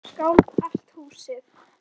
Brynja Þorgeirsdóttir: Og skalf allt húsið?